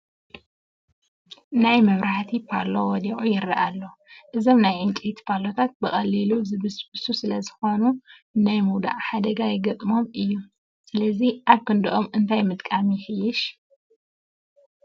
ናይ መብራህታ ፓሎ ወዲቑ ይርአ ኣሎ፡፡ እዞም ናይ ዕንጨይቲ ፓሎታት ብቐሊሉ ዝብስብሱ ስለዝኾኑ ናይ ምውዳቕ ሓደጋ ይገጥሞም እዩ፡፡ ስለዚ ኣብ ክንድኦም እንታይ ምጥቃም የሕይሽ?